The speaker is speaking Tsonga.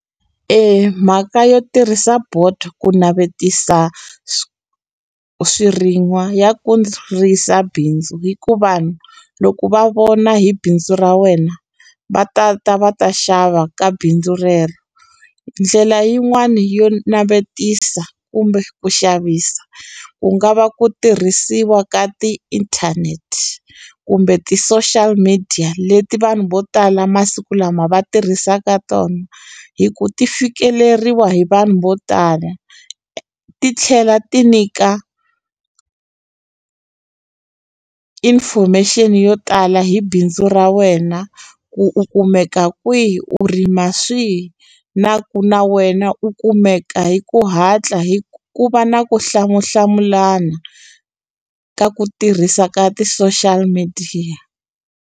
Eya mhaka yo tirhisa board ku navetisa swirin'wa ya bindzu hi ku vanhu loko va vona hi bindzu ra wena va ta ta va ta xava ka bindzu rero ndlela yin'wani yo navetisa kumbe ku xavisa ku nga va ku tirhisiwa ka tiinthanete kumbe ti-social media leti vanhu vo tala masiku lama va tirhisaka tona hi ku ti fikeleriwa hi vanhu vo tala ti tlhela ti nyika information yo tala hi bindzu ra wena ku u kumeka kwihi u rima swihi na ku na wena u kumeka hi ku hatla hi ku ku va na ku hlamulana ka ku tirhisa ka ti-social midiya.